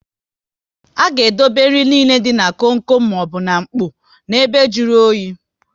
Aga edobe nri nile dị na kom kom maọbụ n'mkpọ na ebe jụrụ oyi